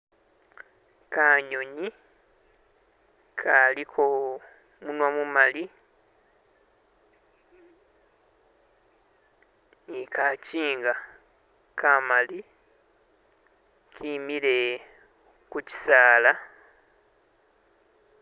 kanyonyi kaliko munwa mumali ni kakyinga kamali kimile ku kyisaala